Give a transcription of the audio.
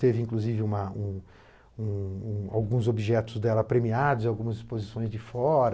Teve, inclusive, uma um um um alguns objetos dela premiados, algumas exposições de fora.